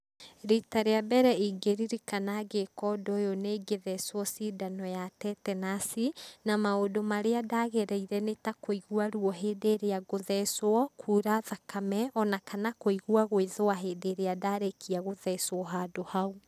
Rita rĩa mbere ingĩririkana ngĩka ũndũ uyu nĩ gĩthecwo cindano ya Tetenus na maũndũ marĩa ndagereire nĩtakũigua rũo hĩndĩ ĩrĩa ngũthecwo kura thakame, ona kana kũigua gwĩthũa hĩndi irĩa ndarĩkia gũthecwo handũ hau.